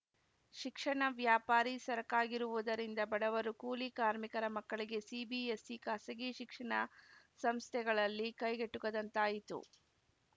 ಶಿಕ್ಷಣ ವ್ಯಾಪಾರೀ ಸರಕಾಗಿರುವುದರಿಂದ ಬಡವರು ಕೂಲಿ ಕಾರ್ಮಿಕರ ಮಕ್ಕಳಿಗೆ ಸಿಬಿಎಸ್‌ಇ ಖಾಸಗಿ ಶಿಕ್ಷಣ ಸಂಸ್ಥೆಗಳಲ್ಲಿ ಕೈಗೆಟುಕದಂತಾಯಿತು